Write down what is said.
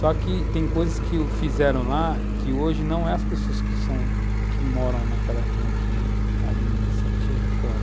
Só que tem coisas que u, fizeram lá, que hoje não é as pessoas que moram naquela região que administra, são pessoas de fora.